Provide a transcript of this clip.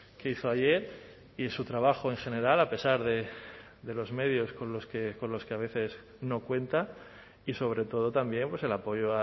que hizo ayer y su trabajo en general a pesar de los medios con los que a veces no cuenta y sobre todo también el apoyo